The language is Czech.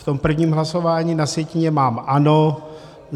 V tom prvním hlasování na sjetině mám ano.